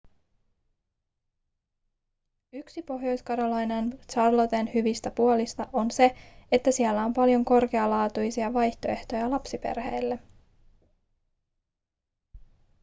yksi pohjois-carolinan charlotten hyvistä puolista on se että siellä on paljon korkealaatuisia vaihtoehtoja lapsiperheille